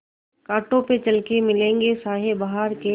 कांटों पे चल के मिलेंगे साये बहार के